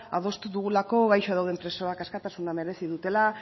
adostu dugulako gaixo dauden presoak askatasuna merezi dutela